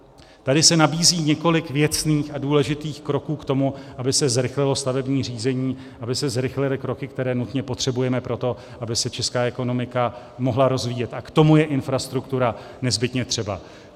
Tady se nabízí několik věcných a důležitých kroků k tomu, aby se zrychlilo stavební řízení, aby se zrychlily kroky, které nutně potřebujeme pro to, aby se česká ekonomika mohla rozvíjet, a k tomu je infrastruktura nezbytně třeba.